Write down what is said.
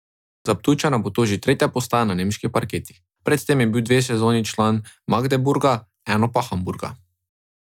Za Ptujčana bo to že tretja postaja na nemških parketih, pred tem je bil dve sezoni že član Magdeburga, eno pa Hamburga.